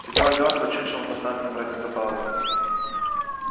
сидела мертво чучелом поставленным ради забавы